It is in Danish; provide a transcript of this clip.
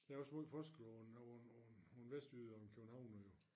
Der noget forskel over nogen nogen nogen vestjyder og nogen københavnere jo